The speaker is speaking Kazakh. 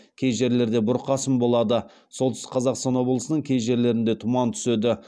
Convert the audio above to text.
кей жерлерде бұрқасын болады солтүстік қазақстан облысының кей жерлерінде тұман түседі